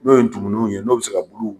N'o ye ntumununw ye n'o bi se ka bulu